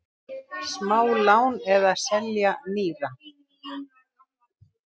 Smálán eða selja nýra?